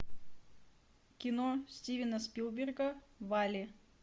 кино стивена спилберга валли